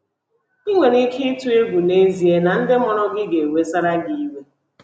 Ị nwere ike ịtụ egwu n'ezie na ndị mụrụ gị ga-ewesara gị iwe